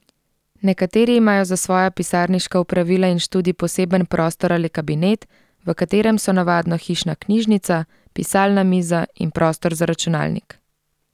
Nekateri imajo za svoja pisarniška opravila in študij poseben prostor ali kabinet, v katerem so navadno hišna knjižnica, pisalna miza in prostor za računalnik.